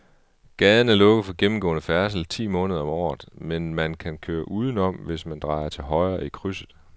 Gaden er lukket for gennemgående færdsel ti måneder om året, men man kan køre udenom, hvis man drejer til højre i krydset.